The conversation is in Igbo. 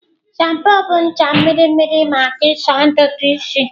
Shampoo bụ ncha mmiri mmiri maka ịsa ntutu isi.